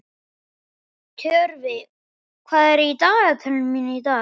Tjörvi, hvað er í dagatalinu mínu í dag?